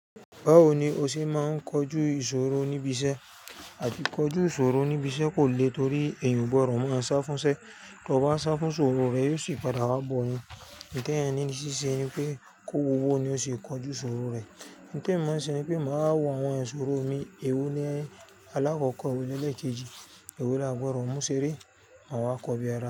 Báwo ni o ṣe máa ń kojú ìṣòro níbi iṣẹ́? A ti kọjú ìṣòro níbi iṣẹ́ kò le torí èèyàn o gbọdọ̀ máa sá fúnṣẹ́. Tí o bá sá fún ìṣòro rẹ, yóò sì padà wá bọ̀ ọ ni. Nígbà tí ẹ̀yin ní í ṣe ṣe ni pé kó wọ̀wọ̀ ni o ṣe kojú ìṣòro rẹ. N témi máa ń ṣe ni pé màá wá wo àwọn ìṣòro mi. Èwo ni alákọ̀ọ́kọ́, èwo lẹlẹ́ẹ̀kejì, èwo laà gbọdọ̀ mú ṣeré, màá wá kọbi ara.